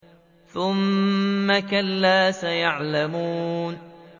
ثُمَّ كَلَّا سَيَعْلَمُونَ